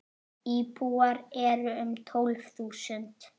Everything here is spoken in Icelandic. Íbúar eru um tólf þúsund.